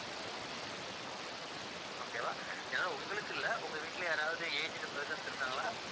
okay வா ஏன்னா உங்களுக்கு இல்லை உங்க வீட்டுல யாராவது aged persons இருக்காங்களா